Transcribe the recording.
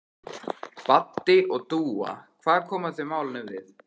Baddi og Dúa, hvað koma þau málinu við?